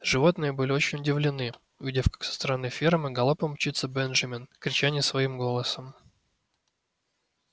животные были очень удивлены увидев как со стороны фермы галопом мчится бенджамин крича не своим голосом